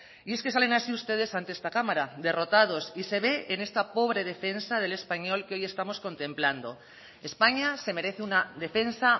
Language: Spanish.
y es que salen así ustedes ante esta cámara derrotados y se ve en esta pobre defensa del español que hoy estamos contemplando españa se merece una defensa